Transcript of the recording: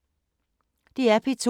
DR P2